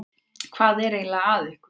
Hvað er eiginlega að ykkur?